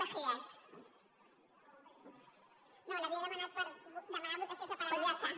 no l’havia demanada per demanar votació separada del tercer punt